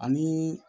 Ani